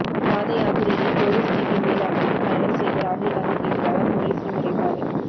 பாதயாத்திரையில் police ஜீப்பின் மேல் அமர்ந்து பயணம் செய்த ராகுல்காந்திக்கு எதிராக பொலிஸில் முறைப்பாடு